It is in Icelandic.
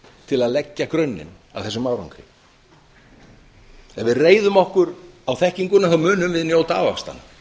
til að leggja grunninn að þessum árangri ef við reiðum okkur á þekkinguna munum við öll njóta ávaxtanna